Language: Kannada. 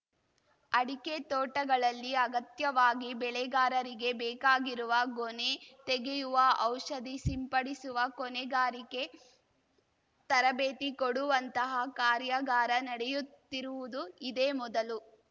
ಅಡಿಕೆ ತೋಟಗಳಲ್ಲಿ ಅಗತ್ಯವಾಗಿ ಬೆಳೆಗಾರರಿಗೆ ಬೇಕಾಗಿರುವ ಗೊನೆ ತೆಗೆಯುವ ಔಷಧಿ ಸಿಂಪಡಿಸುವ ಕೊನೆಗಾರಿಗೆ ತರಬೇತಿ ಕೊಡುವಂತಹ ಕಾರ್ಯಾಗಾರ ನಡೆಯುತ್ತಿರುವುದು ಇದೇ ಮೊದಲು